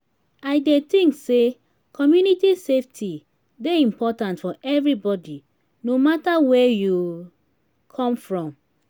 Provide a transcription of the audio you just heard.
i dey think say community safety dey important for everybody no matter where you come from.